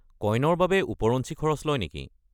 কইনৰ বাবে ওপৰঞ্চি খৰচ লয় নেকি?